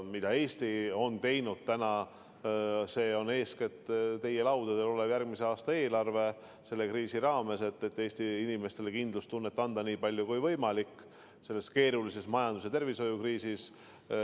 Mida Eesti on teinud, see on eeskätt teie laudadel olev järgmise aasta eelarve, et selle kriisi ajal Eesti inimestele kindlustunnet anda nii palju, kui võimalik selles keerulises majandus- ja tervishoiukriisis.